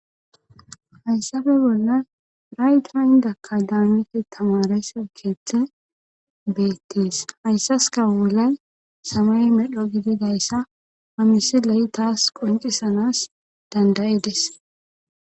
hayssafe bolla rayta indakka daanite tamarese keeththe beettees hayssaska bolay samay medho gididayssa pamisi leyi taas qoncisanas dandayides